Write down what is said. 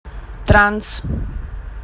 транс